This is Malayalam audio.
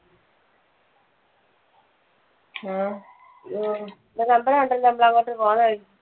ആ ഓഹ് ഒരു അമ്പലം ഉണ്ടല്ലോ അങ്ങോട്ട് പോകുന്ന വഴിക്ക്.